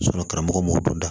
karamɔgɔ b'u da